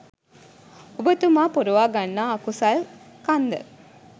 ඔබතුමා පුරවා ගන්නා අකුසල් කන්ද.